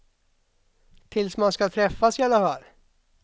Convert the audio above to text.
Tills man ska träffas i alla fall.